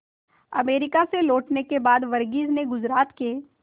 America से लौटने के बाद वर्गीज ने गुजरात के